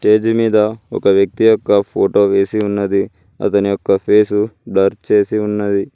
Stage మీద ఒక వ్యక్తి యొక్క ఫోటో వేసి ఉన్నది అతని యొక్క ఫేసు బ్లర్ చేసి ఉన్నది.